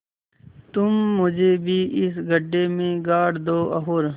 तुम मुझे भी इस गड्ढे में गाड़ दो और